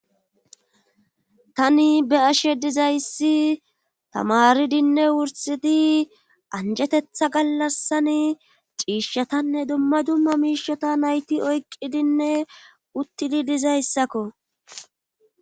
Tani be ashe dizayssi tamaridinne wursidi anjetetha gallassani ciishshatanne dumma dumma miishota nayti oyqqidinne uttidi dizayssakko